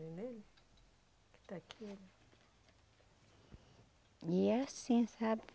E é assim, sabe?